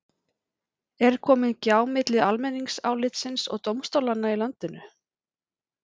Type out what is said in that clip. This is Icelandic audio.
Er komin gjá milli almenningsálitsins og dómstólanna í landinu?